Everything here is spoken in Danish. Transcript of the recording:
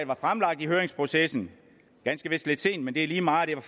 var fremlagt i høringsprocessen ganske vist lidt sent men det er lige meget var